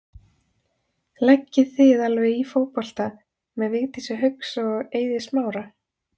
Leggið þið alveg í fótbolta með Vigdísi Hauks og og Eiði Smára?